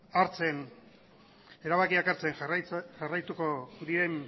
erabakiak hartzen jarraituko dien